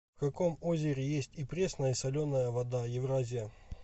в каком озере есть и пресная и соленая вода евразия